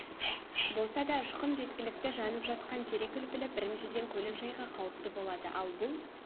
болса да ұшқын да жеткілікті жанып жатқан терек үлпілі біріншіден көлікжайға қауіпті болады ал бұл